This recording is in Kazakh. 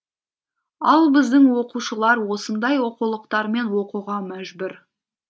ал біздің оқушылар осындай оқулықтармен оқуға мәжбүр